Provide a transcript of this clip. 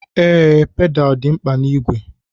Ee, pedaal dị mkpa na-igwe.